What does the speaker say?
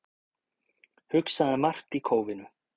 Hugsaði margt í kófinu